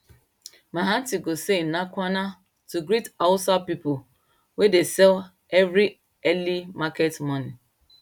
my aunty go say ina kwana to greet hausa people wey de sell every early market morning